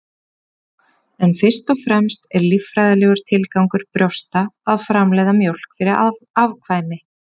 en fyrst og fremst er líffræðilegur tilgangur brjósta að framleiða mjólk fyrir afkvæmi